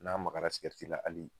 N'a magara sikɛriti la hali